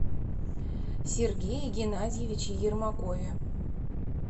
сергее геннадьевиче ермакове